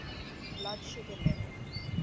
blood sugar level